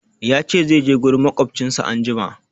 Ya ce zai je gurin maƙwabcinsa anjima.